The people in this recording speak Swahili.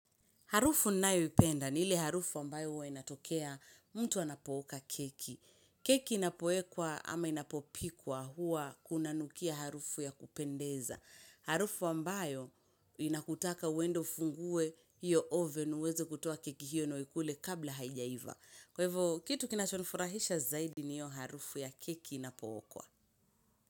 Harufu nayoipenda, ni ile harufu wambayo hua inatokea mtu anapooka keki. Keki inapoekwa ama inapopikwa hua unanukia harufu ya kupendeza. Harufu ambayo inakutaka uende ufunguwe iyo oven uweze kutoa keki hiyo nauikule kabla haijaiva. Kwaivyo kitu kinachonfurahisha zaidi ni hiyo harufu ya keki inapookwa.